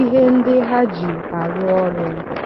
ihe ndị ha ji arụ ọrụ